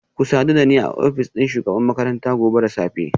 Ku sadu da ni a ofishin shugabar makaranta gobe da safe